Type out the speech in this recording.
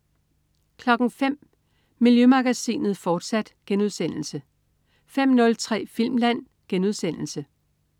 05.00 Miljømagasinet, fortsat* 05.03 Filmland*